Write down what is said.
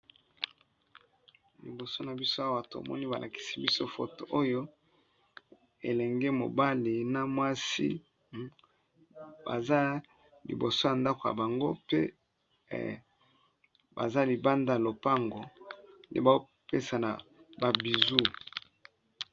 Liboso na biso awa tomoni ba lakisi biso foto oyo elenge mobali na mwasi, baza liboso ya ndako ya bango pe baza libanda lopango pe bao pesana ba bizou.